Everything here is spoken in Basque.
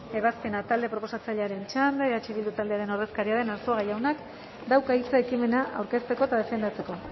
ebazpena talde proposatzailearen txanda eh bildu taldearen ordezkaria den arzuaga jaunak dauka hitza ekimena aurkezteko eta defendatzeko